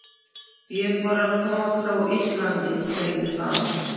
Ég var að koma frá Íslandi, sagði hann.